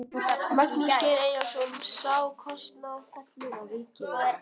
Magnús Geir Eyjólfsson: Sá kostnaður fellur á ríkið eða?